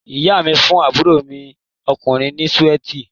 Ìyá mi fún àbúrò mi ọkùnrin ni súwíítì